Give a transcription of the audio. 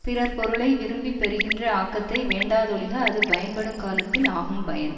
பிறர்பொருளை விரும்பி பெறுகின்ற ஆக்கத்தை வேண்டாதொழிக அது பயன்படுங் காலத்தில் ஆகும் பயன்